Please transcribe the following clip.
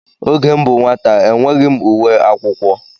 Oge m bụ nwata enweghị m uwe akwụkwọ.